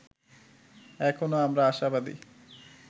এখনো আমরা আশাবাদী